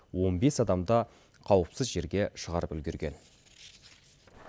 он бес адамды қауіпсіз жерге шығарып үлгерген